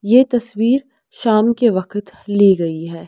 ये तस्वीर शाम के वकत ली गई है।